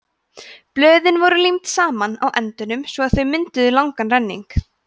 blöðin voru límd saman á endunum svo að þau mynduðu langan renning